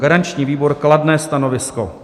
Garanční výbor: kladné stanovisko.